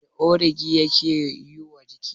Me ogiri yake yiwa jiki?